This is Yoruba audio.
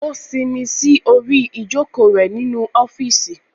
O sinmi sí orí ijoko rẹ nínú ọfiisi